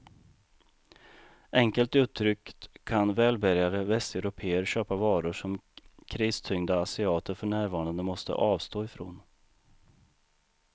Enkelt uttryckt kan välbärgade västeuropéer köpa varor som kristyngda asiater för närvarande måste avstå ifrån.